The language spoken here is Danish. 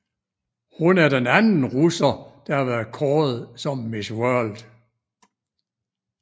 Hun er den anden russer der har været kåret som Miss World